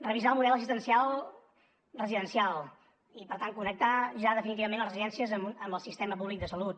revisar el model assistencial residencial i per tant connectar ja definitivament les residències amb el sistema públic de salut